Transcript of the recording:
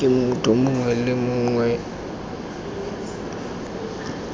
ke motho mongwe le mongwe